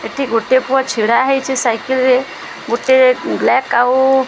ଏଠି ଗୋଟେ ପୁଅ ଛିଡାହେଇଚି ସାଇକେଲ ରେ ଗୋଟିଏ ବ୍ଲାକ ଆଉ --